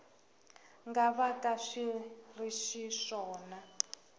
nga vaka swi ri xiswona